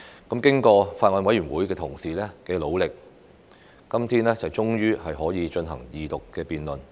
經過法案委員會同事的努力，今天終於可以進行二讀辯論。